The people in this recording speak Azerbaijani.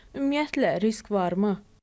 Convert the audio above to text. Ümumiyyətlə risk varmı?